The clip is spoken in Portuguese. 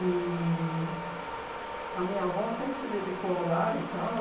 E a minha avó sempre se dedicou ao lar e tal.